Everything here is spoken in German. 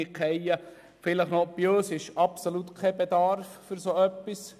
Bei uns besteht absolut kein Bedarf für so etwas.